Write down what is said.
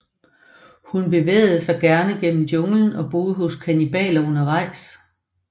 Hun bevægede sig gerne gennem junglen og boede hos kannibaler undervejs